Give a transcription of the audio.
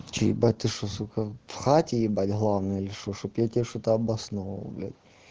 что ебать ты что сука в хате ебать главная или что чтобы я тебе что-то обосновывал бля